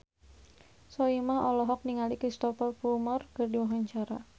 Soimah olohok ningali Cristhoper Plumer keur diwawancara